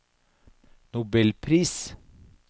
nobelpris